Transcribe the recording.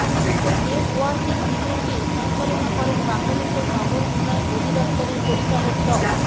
networking ইভেন্টটি সঞ্চালনা করেন বাংলাদেশের নগর উন্নয়ন অধিদপ্তরের পরিচালক ড